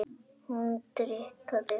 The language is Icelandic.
Hún dýrkaði hann.